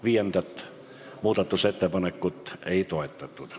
Viiendat muudatusettepanekut ei toetatud.